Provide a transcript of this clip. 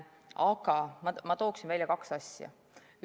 Aga mina toon välja kaks asja.